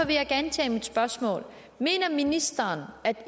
vil jeg gentage mit spørgsmål mener ministeren at